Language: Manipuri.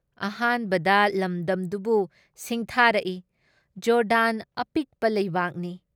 ꯑꯍꯥꯟꯕꯗ ꯂꯝꯗꯝꯗꯨꯕꯨ ꯁꯤꯡꯊꯥꯔꯛꯏ ꯖꯣꯔꯗꯥꯟ ꯑꯄꯤꯛꯄ ꯂꯩꯕꯥꯛꯅꯤ ꯫